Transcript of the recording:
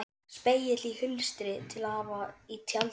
Spegill í hulstri til að hafa í tjaldinu.